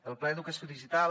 el pla d’educació digital